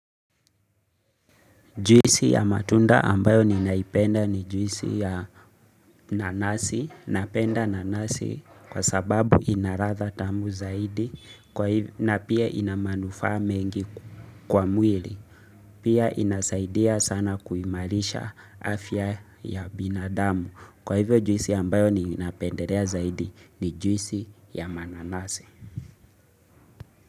Juisi ya matunda ambayo ninaipenda ni juisi ya nanasi, napenda nanasi kwa sababu ina ladha atha tamu zaidi na pia ina manufaa mengi kwa mwili. Pia inasaidia sana kuimarisha afya ya binadamu. Kwa hivyo juisi ambayo ninapendelea zaidi ni juisi ya mananasi.